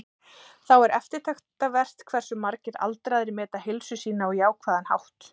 Þá er eftirtektarvert hversu margir aldraðir meta heilsu sína á jákvæðan hátt.